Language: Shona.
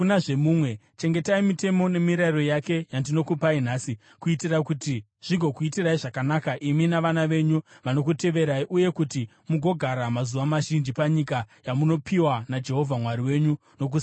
Chengetai mitemo nemirayiro yake yandinokupai nhasi, kuitira kuti zvigokuitirai zvakanaka imi navana venyu vanokuteverai uye kuti mugogara mazuva mazhinji panyika yamunopiwa naJehovha Mwari wenyu nokusingaperi.